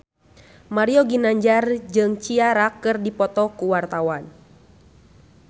Mario Ginanjar jeung Ciara keur dipoto ku wartawan